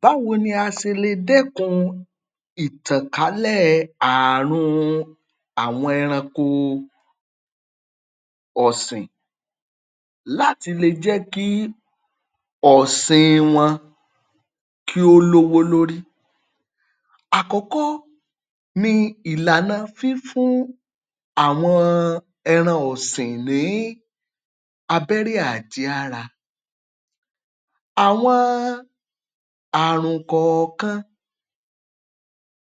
Báwo ni a ṣelè dẹ́kun ìtànkálè ààrùn àwọn ẹranko ọ̀sìn láti le jẹ́ kí ọ̀sìn wọn kí ó lówó lórí? Àkọ́kọ́ ni ìlànà fífún àwọn ẹran ọ̀sìn ní abẹ́rẹ́ àjẹára, àwọn ààrùn kọ̀ọ̀kan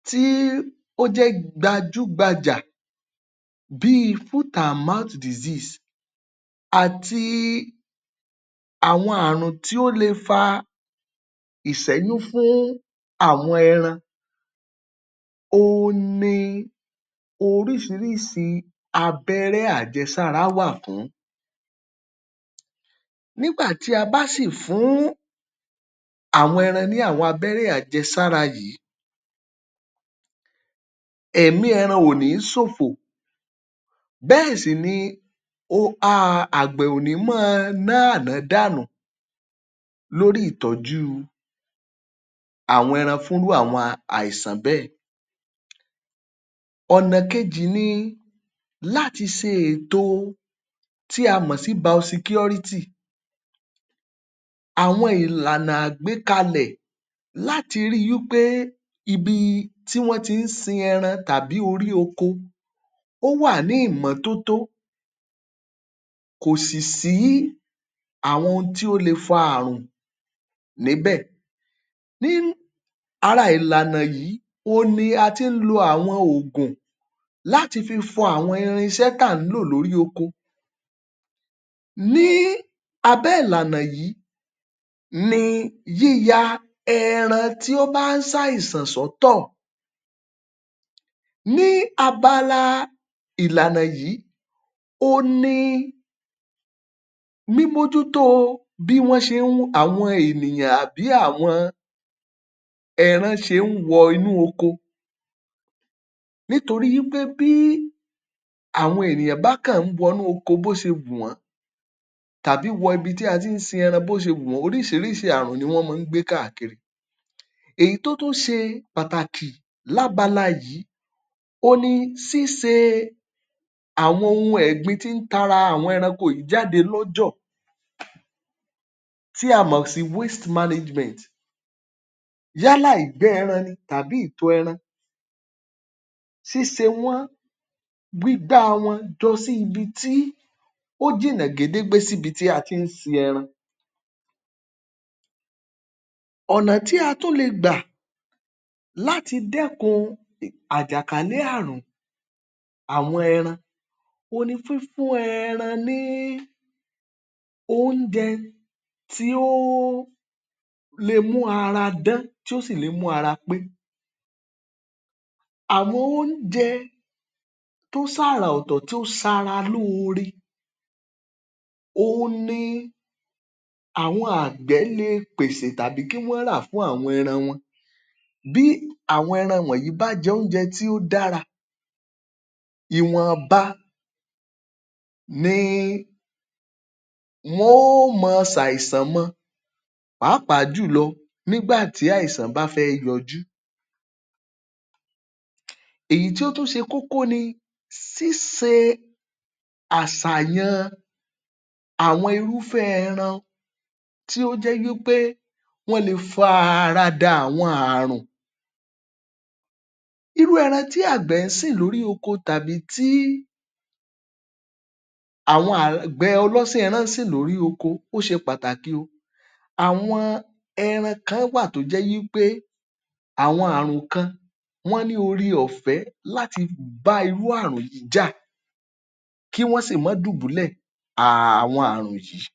tí ó jẹ́ gbajúgbajà bíi àti àwọn ààrùn tí ó le fa ìṣéyún fún àwọn ẹran, òun ni orísirísi abẹ́rẹ́ àjẹsáre wà fún, nígbà tí a bá sì fún àwọn ẹran ní abẹ́rẹ́ àjẹsári yìí, ẹ̀mí ẹran ò níí ṣòfò bẹ́ẹ̀ sì ni um àgbẹ̀ ò níí máa ná ànádànù lórí ìtọ́jụ́ àwọn ẹran fún irú àwọn àìsàn bẹ́ẹ̀. Ọ̀nà kejì ni láti ṣe èto tí a mọ̀ sí, àwọn ìlànà àgbékalẹ̀ láti rí i wípé ibi tí wọ́n ti ń sin ẹran tàbí orí oko ó wà ní ìmọ́tótó kò sì sí àwọn ohun tó le fa àrùn níbẹ̀, ní ara ìlànà yìí òun ni a ti ń lo àwọn oògùn láti fi fọ àwọn irinṣẹ́ tí à ń lò lórí oko, ní abẹ́ ìlànà yìí ni yíya ẹran tí ó bá ń ṣàìsàn sótò, ní abala ìlànà yìí ohun ni mímójútó bí wọ́n ṣe ń um àwọn ènìyàn àbí àwọn ẹran ṣe ń wọ inú oko, nítorí wípé bí àwọn èyàn bá kàn ń wọ inú oko bó ṣe wù wọ́n tàbí wọ ibi tí a ti ń sin ẹran bó ṣe wù wọ́n, oríṣiríṣi àrùn ni wọ́n máa ń gbé káàkiri, èyí tó tún ṣe pàtàkì lábala yìí ò n ni ṣíṣe àwọn ohun ẹ̀gbin tí ń ti ara àwọn ẹran wọ̀nyí jáde lọ́jọ̀, tí a mọ̀ sí, yálà ìgbẹ́ ẹran ni tàbí ìtọ̀ ẹran, ṣíṣe wọ́n, gbígbá wọn jọ sí ibi tí ó jìnà gédégbé sí ibi tí a ti ń sin ẹrin. Ọ̀nà tí a tún lè gbà láti dẹ́kun àjàkálẹ̀ àrùn àwọn ẹran, òun ni fífún ẹran ní oúnjẹ tí ó le mu ara dán, tí ó si le mú ara pé, àwọn oúnjẹ tó ṣàrà ọ̀tọ̀, tó ṣara lóore, ò n ni àwọn àgbẹ̀ le pèsè tàbí kí wọ́n rà fún àwọn ẹran wọn, bí àwọn ẹran wọ̀nyí bá jẹ oúnjẹ tí ó dára, ìwọ̀nba ni wọn ó máa ṣàìsàn mọ, pàápàá jùlọ nígbà tí àìsàn bá fẹ́ yọjú. Èyí tí ó tún ṣe kókó ni ṣíṣe àṣàyàn àwọn irúfẹ́ ẹran tí ó jẹ́ wípé wọn le farada àwọn àrùn, irú ẹran tí àgbẹ̀ sìn lórí oko tàbí tí àwón àgbẹ̀ ọlọ́sìn ẹran ń sìn lórí oko, ó ṣe pàtàkì o. Àwọn ẹran kan wà tí ó jẹ́ wípé àwọn àrùn kan wọ́n ní ore-ọfẹ́ láti bá irú yìí jà, kí wọ́n sí má dùbúlẹ̀ àwọn ààrùn yìí